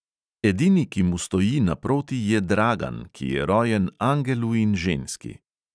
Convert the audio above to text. Edini, ki mu stoji naproti je dragan, ki je rojen angelu in ženski.